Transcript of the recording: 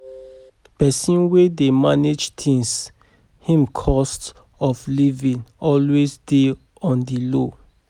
Pesin wey dey manage things, im cost of livin always dey on di low.